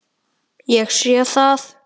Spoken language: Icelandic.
Ég sé það.